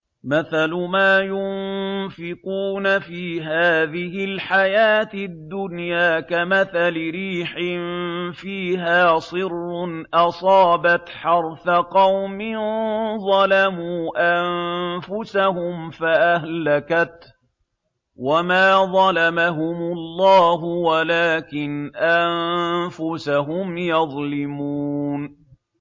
مَثَلُ مَا يُنفِقُونَ فِي هَٰذِهِ الْحَيَاةِ الدُّنْيَا كَمَثَلِ رِيحٍ فِيهَا صِرٌّ أَصَابَتْ حَرْثَ قَوْمٍ ظَلَمُوا أَنفُسَهُمْ فَأَهْلَكَتْهُ ۚ وَمَا ظَلَمَهُمُ اللَّهُ وَلَٰكِنْ أَنفُسَهُمْ يَظْلِمُونَ